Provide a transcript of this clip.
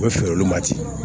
U bɛ feere olu ma ten